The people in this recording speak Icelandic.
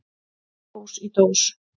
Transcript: Hrós í dós.